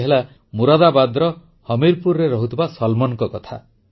ଇଏ ହେଲା ମୁରାଦାବାଦର ହମୀରପୁରରେ ରହୁଥିବା ସଲମାନଙ୍କ କଥା